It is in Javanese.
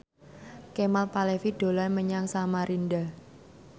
Kemal Palevi dolan menyang Samarinda